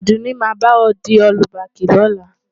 Àdùnní máa bá ọ di ọ́lúbaàkì lọ́la.